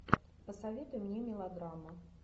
посоветуй мне мелодраму